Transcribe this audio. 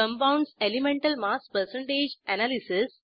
compounds elemental mass percentage analysis